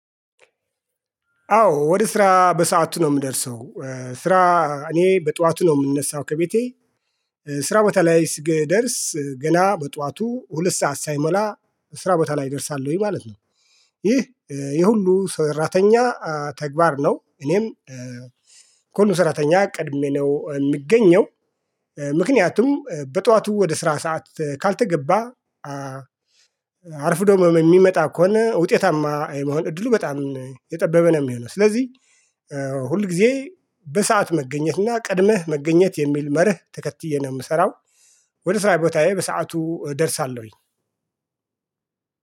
አዎ ወደ ስራ በሰአቱ ነው የምደርሰው። ስራ እኔ በጧቱ ነው የምነሳው ከቤቴ። ስራ ቦታ ላይ ስክደርስ ገላ በጧቱ ሁለት ሰዓት ሳይሞላ ስራ ቦታ ላይ ይደርሳሉ ወይ ማለት ነው? ይህ የሁሉ ሰራተኛ ተግባር ነው። እኔም ኮሎ ሰራተኛ ቅድሜ ነው የምገኘው። ምክንያቱም በጠዋቱ ወደ ስራ ሰዓት ካልተገባ። አርፍዶ የሚመጣ ከሆነ ውጤታማ የመሆን እድሉ በጣም የጠበበ ነው የሚሆነው። ስለዚህ ሁል ጊዜ በሰአት መገኘት እና ቀድመህ መገኘት የሚል መርህ ተከትዬ ነው የምሰራው። ወደ ስራ ቦታዬ በሰአቱ እደርሳለሁኝ።